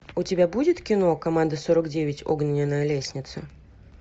у тебя будет кино команда сорок девять огненная лестница